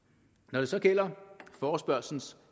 når det så gælder forespørgslens